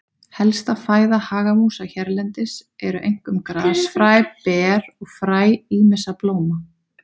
Helsta fæða hagamúsa hérlendis eru einkum grasfræ, ber og fræ ýmissa blóma.